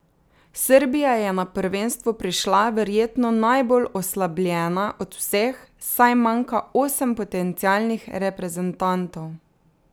Srbija je na prvenstvo prišla verjetno najbolj oslabljena od vseh, saj manjka osem potencialnih reprezentantov.